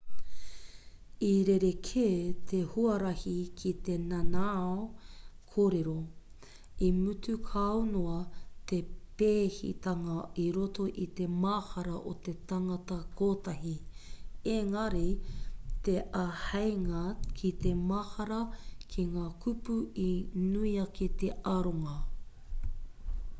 i rerekē te huarahi ki te nanao kōrero i mutu kau noa te pēhitanga i roto i te mahara o te tangata kotahi ēngari te āheinga ki te mahara ki ngā kupu i nui ake te aronga